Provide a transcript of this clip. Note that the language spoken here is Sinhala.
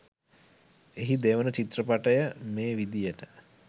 එහි දෙවන චිත්‍රපටය මේ විදියට